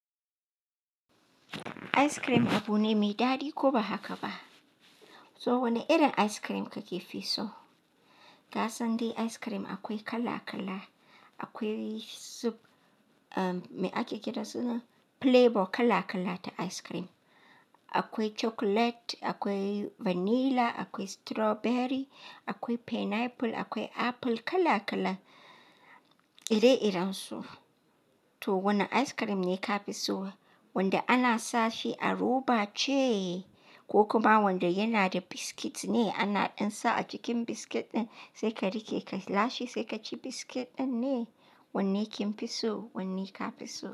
Ice cream abu ne mai daɗi ko ba haka ba? To wane irin ice cream kake fi so? Ka san dai ice cream akwai kala-kala. Akwai sub-- um, me ake kira suna flavor kala-kala ta ice cream. Akwai chocolate, akwai vanilla, akwai strawberry, akwai pineapple, akwai apple, kala-kala ire-iren su. To wane ice cream ne ka fi so? Wanda ana sa shi a roba ce ko kuma wanda yana da biscuit ne ana ɗinsa a jikin biscuit ɗin sai ka riƙe ka lashe sai ka ci biscuit ɗin ne? Wanne kin fi so? Wanne ka fi so?